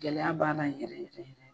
Gɛlɛya b'a la yɛrɛ yɛrɛ.